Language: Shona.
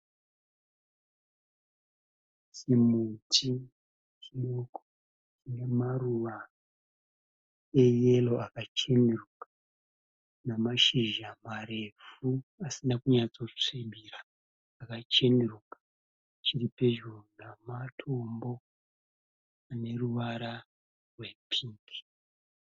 Chimuti chiduku, nemaruva eyero akachenuruka, nemashizha marefu asina kunyatsosvibira, akachenuruka. Chiripedyo namatombo aneruvara rwepingi.